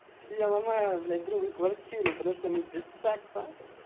я ломаю блядь другу квартиру потому что мы без секса ха-ха